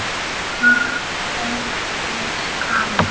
Ófrísk, amma!